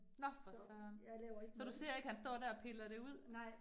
Nå for søren. Så du ser ikke, han står der og piller det ud